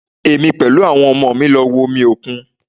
Èmi pẹ̀lú àwọn ọmọ mi lọ wo omi òkun